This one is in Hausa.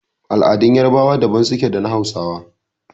Al'adun yarbawa daban suke da na hausawa.